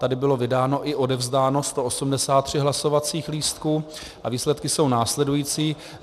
Tady bylo vydáno i odevzdáno 183 hlasovacích lístků a výsledky jsou následující.